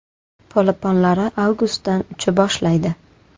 Polaponlari avgustdan ucha boshlaydi.